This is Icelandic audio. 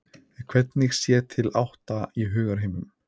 En hvernig sér til átta í hugarheimum?